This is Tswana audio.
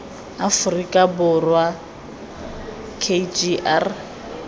aforika borwa k g r